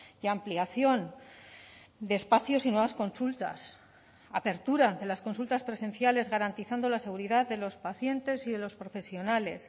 y ampliación de espacios y nuevas consultas apertura de las consultas presenciales garantizando la seguridad de los pacientes y de los profesionales